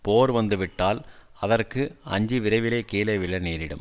போர் வந்துவிட்டால் அதற்கு அஞ்சி விரைவிலே கீழே விழ நேரிடும்